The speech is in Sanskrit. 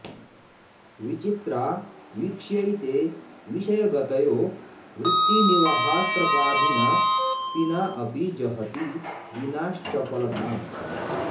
विचित्रा वीक्ष्यैते विषयगतयो वृत्तिनिवहा स्त्रपाधीना पीना अपि जहति दीनाश्चपलताम्